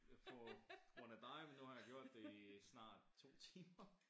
På grund af dig men nu har jeg gjort det i snart 2 timer